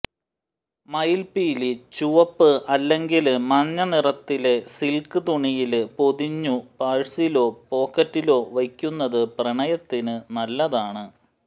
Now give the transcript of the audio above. മയില്പ്പീലി ചുവപ്പ് അല്ലെങ്കില് മഞ്ഞ നിറത്തിലെ സില്ക് തുണിയില് പൊതിഞ്ഞു പഴ്സിലോ പോക്കറ്റിലോ വയ്ക്കുന്നത് പ്രണയത്തിന് നല്ലതാണ്